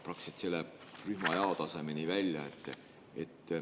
Praktiliselt see läheb rühma jao tasemeni välja.